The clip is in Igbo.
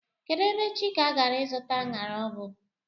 Kedụ ebe Chika gara ịzụta aṅara ọ bụ?